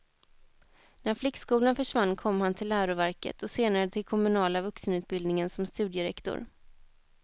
När flickskolan försvann kom han till läroverket och senare till kommunala vuxenutbildningen som studierektor.